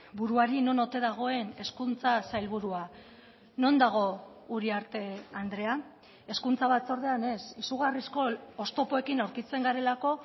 buruari non ote dagoen hezkuntza sailburua non dago uriarte andrea hezkuntza batzordean ez izugarrizko oztopoekin aurkitzen garelako